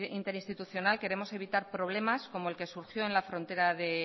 interinstitucional queremos evitar problemas como el que surgió en la frontera de